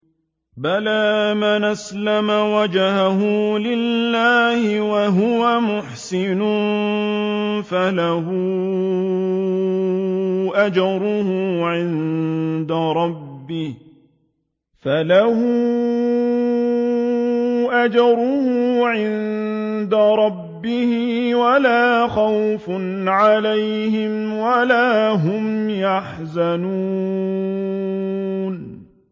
بَلَىٰ مَنْ أَسْلَمَ وَجْهَهُ لِلَّهِ وَهُوَ مُحْسِنٌ فَلَهُ أَجْرُهُ عِندَ رَبِّهِ وَلَا خَوْفٌ عَلَيْهِمْ وَلَا هُمْ يَحْزَنُونَ